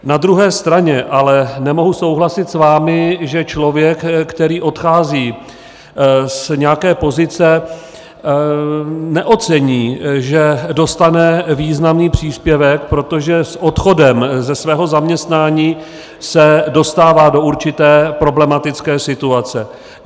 Na druhé straně ale nemohu souhlasit s vámi, že člověk, který odchází z nějaké pozice, neocení, že dostane významný příspěvek, protože s odchodem ze svého zaměstnání se dostává do určité problematické situace.